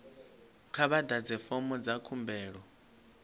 kha vha ḓadze fomo dza khumbelo